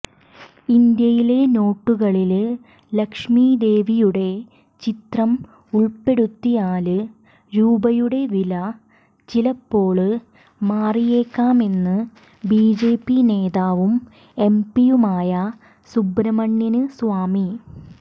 ഇന്ത്യയിലെ നോട്ടുകളില് ലക്ഷ്മി ദേവിയുടെ ചിത്രം ഉള്പ്പെടുത്തിയാല് രൂപയുടെ വില ചിലപ്പോള് മാറിയേക്കാമെന്ന് ബിജെപി നേതാവും എംപിയുമായ സുബ്രഹ്മണ്യന് സ്വാമി